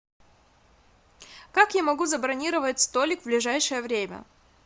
как я могу забронировать столик в ближайшее время